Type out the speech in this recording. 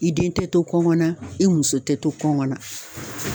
I den te to kɔngɔ na i muso te to kɔngɔn na